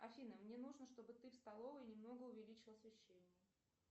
афина мне нужно чтобы ты в столовой немного увеличила освещение